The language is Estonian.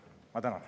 Ma tänan.